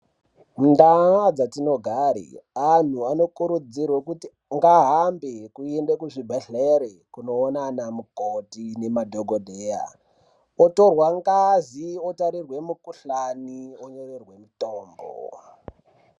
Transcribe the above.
Mundaa dzatinogari anhu anokurudzirwa ngahambe kuenda kuzvibhedhlere kunoona anamukoti nemadhokodheya, otorwa ngazi, otariswe mukhuhlani onyorerwe mutombo